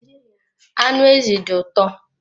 Anụ ezi dị ụtọ